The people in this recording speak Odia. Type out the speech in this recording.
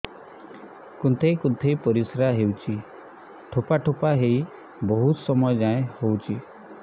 କୁନ୍ଥେଇ କୁନ୍ଥେଇ ପରିଶ୍ରା ହଉଛି ଠୋପା ଠୋପା ହେଇ ବହୁତ ସମୟ ଯାଏ ହଉଛି